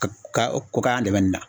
Ka ka ko k'a yan dɛmɛ nin na